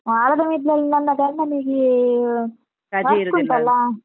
ವಾರದ ಮಿಡ್ಲಲ್ಲಿ ನನ್ನ ಗಂಡನಿಗೆ .